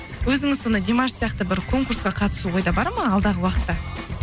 өзіңіз сонда димаш сияқты бір конкурсқа қатысу ойда бар ма алдағы уақытта